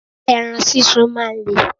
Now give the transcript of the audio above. Ẹran sísun máa ń le.